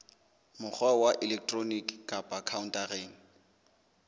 mokgwa wa elektroniki kapa khaontareng